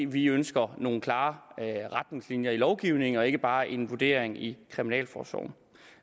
vi ønsker nogle klare retningslinjer i lovgivningen og ikke bare en vurdering i kriminalforsorgen